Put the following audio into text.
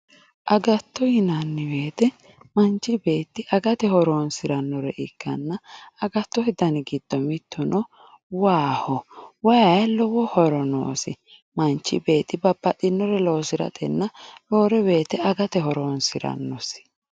Agatto yinanni woyte manchi beetti agate horonsiranore ikkanna agattote dani giddo mituno waaho, waayi lowo horo noosi manchi beetti babbaxxinore loosiratenna roore woyte agate horonsiranosi.